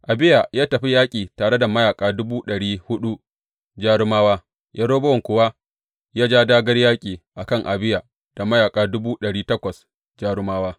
Abiya ya tafi yaƙi tare da mayaƙa dubu ɗari huɗu jarumawa, Yerobowam kuwa ya ja dāgār yaƙi a kan Abiya da mayaƙa dubu ɗari takwas jarumawa.